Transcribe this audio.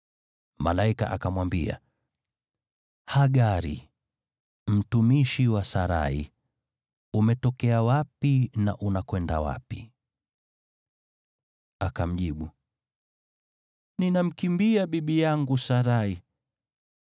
Malaika akamwambia, “Hagari, mtumishi wa Sarai, umetokea wapi, na unakwenda wapi?” Akamjibu, “Ninamkimbia bibi yangu Sarai.”